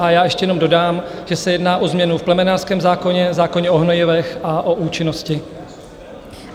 A já ještě jenom dodám, že se jedná o změnu v plemenářském zákoně, zákoně o hnojivech a o účinnosti.